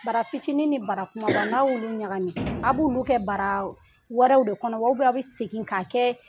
Bara fitinin ni bara kumaba n'a y'olu ɲagami, a b'olu kɛ bara wɛrɛw de kɔnɔ wa aw bɛ segin k'a kɛ